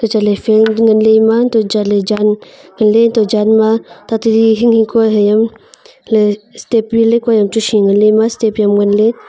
chatle fan chu nganle eemaa hanto a chatle jaan nganle hanto a jaan ma tatali hinghing kua hai yaw le step ri le kua aam chu shui ngan le eemaa step hiaam nganle.